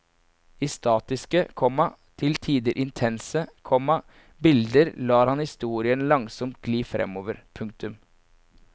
I statiske, komma til tider intense, komma bilder lar han historien langsomt gli framover. punktum